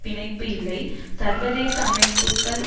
பிணைப்பு இல்லை சர்வதேச அமைப்புக்கள்